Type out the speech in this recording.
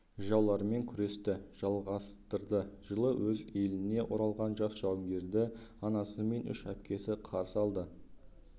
жаулармен күресті жалғастырды жылы өз еліне оралған жас жауынгерді анасы мен үш әпкесі қарсы алады